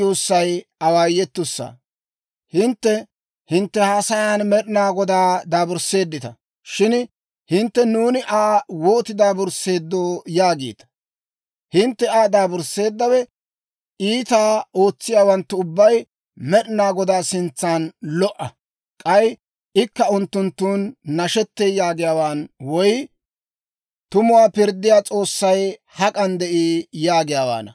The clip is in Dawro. Hintte hintte haasayan Med'ina Godaa daabursseeddita. Shin hintte, «Nuuni Aa wootiide daabursseeddoo?» yaagiita. Hintte Aa daabursseeddawe, «Iitaa ootsiyaawanttu ubbay Med'ina Godaa sintsan lo"a; k'ay ikka unttunttun nashettee» yaagiyaawaan woy, «Tumuwaa pirddiyaa S'oossay hak'an de'ii?» yaagiyaawaana.